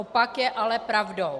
Opak je ale pravdou.